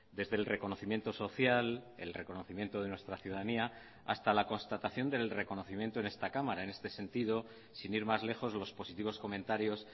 desde el reconocimiento social el reconocimiento de nuestra ciudadanía hasta la constatación del reconocimiento en esta cámara en este sentido sin ir más lejos los positivos comentarios